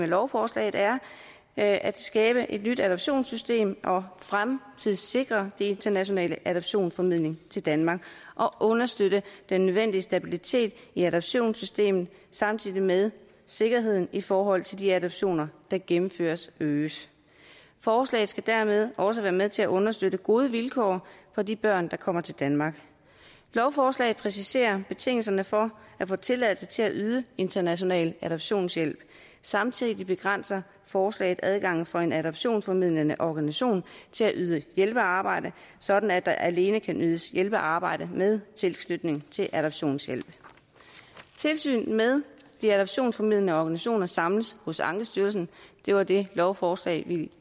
lovforslaget er at at skabe et nyt adoptionssystem og fremtidssikre den internationale adoptionsformidling til danmark og understøtte den nødvendige stabilitet i adoptionssystemet samtidig med at sikkerheden i forhold til de adoptioner der gennemføres øges forslaget skal dermed også være med til at understøtte gode vilkår for de børn der kommer til danmark lovforslaget præciserer betingelserne for at få tilladelse til at yde international adoptionshjælp samtidig begrænser forslaget adgangen for en adoptionsformidlende organisation til at yde hjælpearbejde sådan at der alene kan ydes hjælpearbejde med tilknytning til adoptionshjælp tilsynet med de adoptionsformidlende organisationer samles hos ankestyrelsen det var det lovforslag